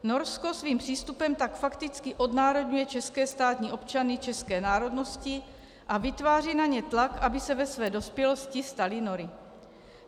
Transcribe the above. Norsko svým přístupem tak fakticky odnárodňuje české státní občany české národnosti a vytváří na ně tlak, aby se ve své dospělosti stali Nory.